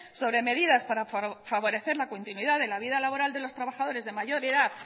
sobre medidas para favorecer la continuidad de la vida laboral de los trabajadores de mayor edad